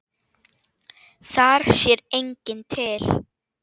Þar sér enginn til.